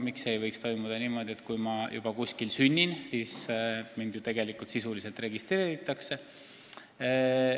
Miks see ei võiks olla niimoodi, et kui ma juba kuskil olen sündinud, siis mind sisuliselt juba registreeritakse.